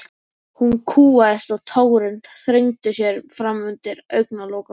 Hún kúgaðist og tárin þrengdu sér fram undir augnalokunum.